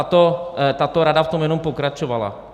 A tato rada v tom jenom pokračovala.